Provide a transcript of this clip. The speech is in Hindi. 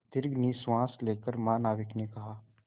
दीर्घ निश्वास लेकर महानाविक ने कहा